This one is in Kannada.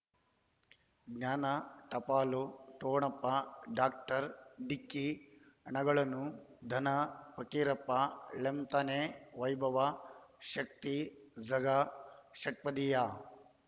ಜ್ಞಾನ ಟಪಾಲು ಠೊಣಪ ಡಾಕ್ಟರ್ ಢಿಕ್ಕಿ ಣಗಳನು ಧನ ಫಕೀರಪ್ಪ ಳಂತಾನೆ ವೈಭವ ಶಕ್ತಿ ಝಗಾ ಷಟ್ಪದಿಯ